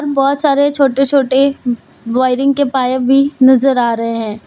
बहोत सारे छोटे-छोटे वायरिंग के पाइप भी नजर आ रहे हैं।